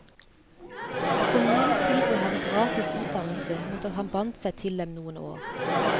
Kommunen tilbød ham gratis utdannelse, mot at han bandt seg til dem noen år.